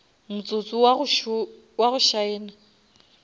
motsotso wo wa go šaena